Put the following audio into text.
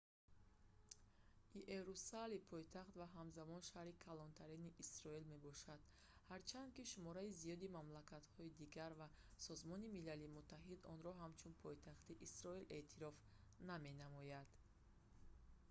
иерусалим пойтахт ва ҳамзамон шаҳри калонтарини исроил мебошад ҳарчанд ки шумораи зиёди мамлакатҳои дигар ва созмони милали муттаҳид онро ҳамчун пойтахти исроил эътироф наменамоянд